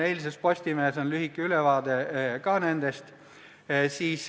Eilses Postimehes on nendest ka lühike ülevaade antud.